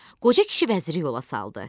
Qoca kişi vəziri yola saldı.